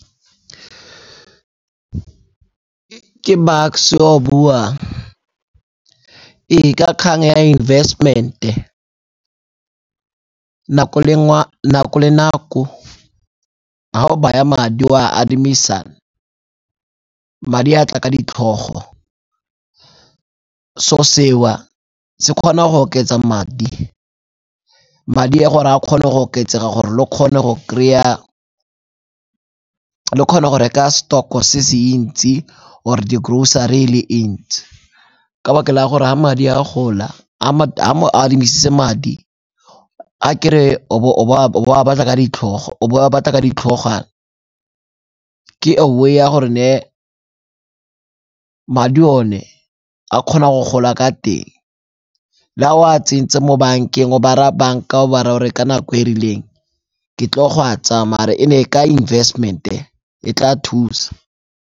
Ke Bucks-e yo a buang. Ee, ka kgang ya investment-e, nako le nako ha o baya madi o a adimisa, madi a tla ka ditlhogo. Se'o seo se kgona go oketsa madi, madi gore a kgone go oketsega gore le kgone go kry-a, le kgone go reka stock-o se se ntsi or-e di-grocery e le e ntsi. Ka 'baka la gore ga madi a gola, a mo adimisitse madi. A ke re o bo o a batla ka ditlhogwana, ke a way ya gore ne madi one a kgona go gola ka teng le ha o a tsentse mo bankeng o ba raya banka o ba raya o re ka nako e e rileng ke tlo go a tsaya mare e ne ka investment-e e tla thusa.